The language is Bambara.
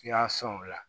Yaas o la